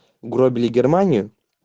угробили германию